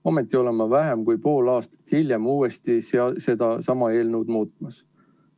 Ometi oleme vähem kui pool aastat hiljem uuesti sedasama eelnõu muutmas.